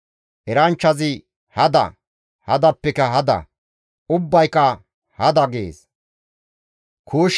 Eranchchazi, «Hada! Hadappeka hada! Ubbayka hada!» gees.